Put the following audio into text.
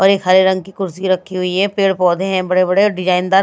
और एक हरे रंग की कुर्सी रखी हुई है पेड़ पौधे हैं बड़े बड़े डिजाइन दा--